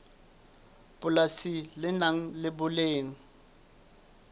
polasi le nang le boleng